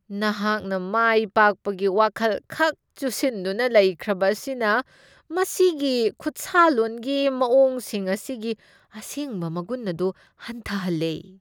ꯅꯍꯥꯛꯅ ꯃꯥꯏꯄꯥꯛꯄꯒꯤ ꯋꯥꯈꯜꯈꯛ ꯆꯨꯁꯤꯟꯗꯨꯅ ꯂꯩꯈ꯭ꯔꯕ ꯑꯁꯤꯅ ꯃꯁꯤꯒꯤ ꯈꯨꯠꯁꯥꯂꯣꯟꯒꯤ ꯃꯋꯣꯡꯁꯤꯡ ꯑꯁꯤꯒꯤ ꯑꯁꯦꯡꯕ ꯃꯒꯨꯟ ꯑꯗꯨ ꯍꯟꯊꯍꯜꯂꯦ ꯫